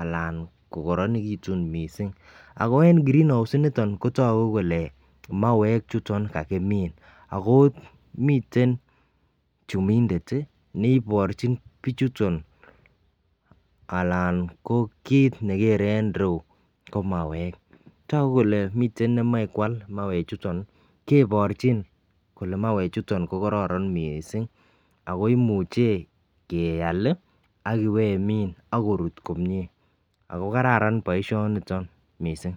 alan ko koronekitun missing. Ako en green house initon kotoku kole mauwek chuton kakimin ako miten chumindet tii neiborchin bichuton alan ko kit nekere en yuu ko mauwek, toku kole miten nemoi kwal mauwek chuton kebirchi kole mauwek chuton ko koron missing ako imuche keal li akipemin ak korut komie. Ako kararan boishoniton missing.